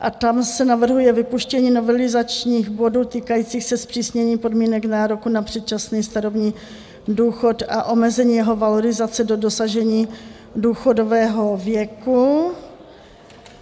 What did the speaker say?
A tam se navrhuje vypuštění novelizačních bodů týkajících se zpřísnění podmínek nároku na předčasný starobní důchod a omezení jeho valorizace do dosažení důchodového věku.